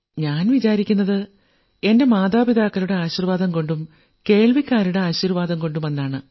ഞാൻ വിചാരിക്കുന്നത് എന്റെ മാതാപിതാക്കളുടെ ആശീർവ്വാദം കൊണ്ടും ശ്രോതാക്കളുടെ ആശീർവ്വാദം കൊണ്ടുമാണെന്നാണ്